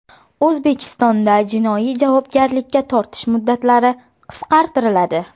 O‘zbekistonda jinoiy javobgarlikka tortish muddatlari qisqartiriladi.